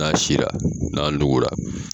N'a sinra n'a nugura.